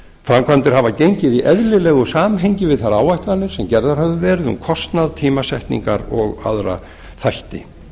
framkvæmdir hafa gengið í eðlilegu samhengi við þær áætlanir sem gerðar hafa verið um kostnað tímasetningar og aðra þætti